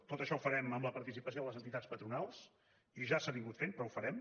tot això ho farem amb la participació de les entitats patronals i ja s’ha anat fent però ho farem